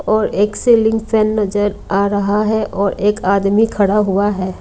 और एक ceiling fan नजर आ रहा है और एक आदमी खड़ा हुआ है।